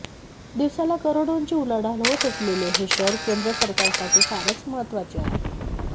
दिवसाला करोडोंची उलाढाल होत असलेले हे शहर केंद्र सरकारसाठी फारच महत्वाचे आहे